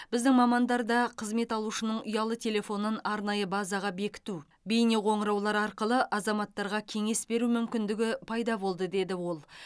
біздің мамандарда қызмет алушының ұялы телефонын арнайы базаға бекіту бейнеқоңыраулар арқылы азаматтарға кеңес беру мүмкіндігі пайда болды деді ол